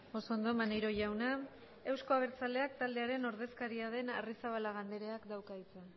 oso ondo maneiro jauna euzko abertzaleak taldearen ordezkaria den arrizabalaga andreak dauka hitza